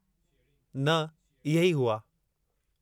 न, इहे ई हुआ।